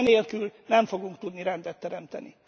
Enélkül nem fogunk tudni rendet teremteni.